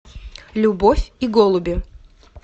любовь и голуби